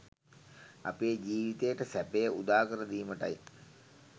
අපේ ජීවිතයට සැපය උදාකර දීමටයි.